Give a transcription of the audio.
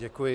Děkuji.